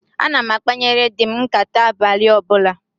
Ana m akpanyere di m nkàtá abalị ọbụla